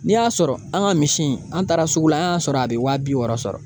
N'i y'a sɔrɔ an ka misi in , an taara sugu la, an y'a sɔrɔ ,a bɛ waa bi wɔɔrɔ sɔrɔ.